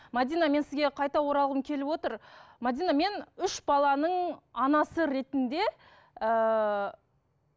мәдина мен сізге қайта оралғым келіп отыр мәдина мен үш баланың анасы ретінде ыыы